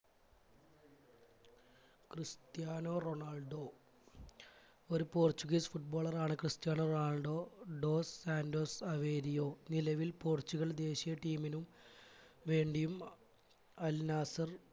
Cristiano Ronaldo ഒരു portuguese footballer ആണ് Cristiano Ronaldo dos santos averio നിലവിൽ പോർച്ചുഗൽ ദേശിയ team നും വേണ്ടിയും അഹ് al nasar